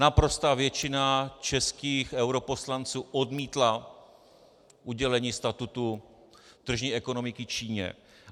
Naprostá většina českých europoslanců odmítla udělení statutu tržní ekonomiky Číně.